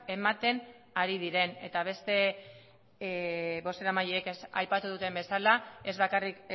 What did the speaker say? ematen ari diren eta beste bozeramaileek aipatu duten bezala ez bakarrik